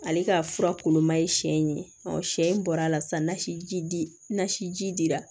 Ale ka fura kulon ma ye siɲɛ ye siɲɛ bɔra sisan nasi nasi dira